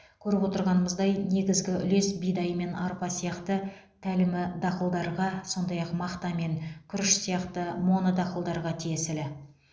көріп отырғанымыздай негізгі үлес бидай мен арпа сияқты тәлімі дақылдарға сондай ақ мақта мен күріш сияқты монодақылдарға тиесілі